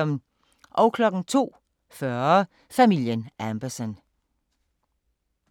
02:40: Familien Amberson